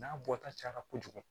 N'a bɔta cayara kojugu